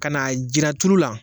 Ka na jiran turu la